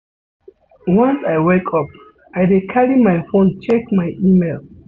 Once I wake up, I dey carry my fone check my email.